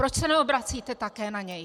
Proč se neobracíte také na něj?